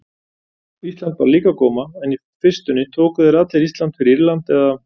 Ísland bar líka á góma- en í fyrstunni tóku þeir allir Ísland fyrir Írland eða